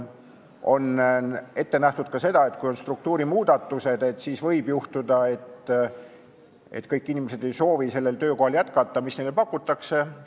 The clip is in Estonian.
On ette nähtud ka seda, et kui on struktuurimuudatused, siis võib juhtuda, et kõik inimesed ei soovi jätkata sellel töökohal, mida neile pakutakse.